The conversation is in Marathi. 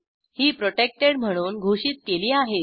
ही प्रोटेक्टेड म्हणून घोषित केली आहेत